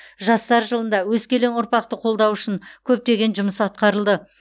жастар жылында өскелең ұрпақты қолдау үшін көптеген жұмыс атқарылды